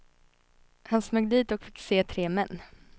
Han smög dit och fick se tre män.